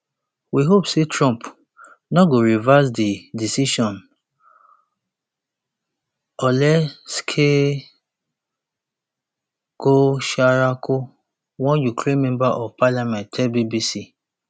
we hope say [trump] no go reverse [di decision] oleksiy goncharenko one ukraine member of parliament tell bbc